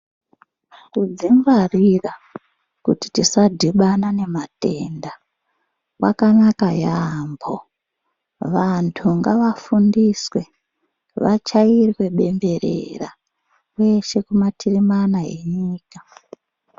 Kudzingwarira kuti tisadhibana nematenda kwakanaka yaambo vanthu ngavafundiswe vachairwe benderera kweshe kumativi mana enyika.